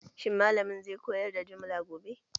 Shin malamin zai koyar da jumla gobe?